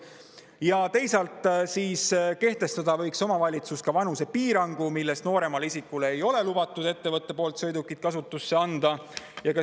Ja teisalt võiks omavalitsus kehtestada vanusepiirangu, millest nooremale isikule ei ole ettevõttel lubatud sõidukit kasutusse anda.